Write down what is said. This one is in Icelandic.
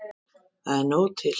Það er nóg til.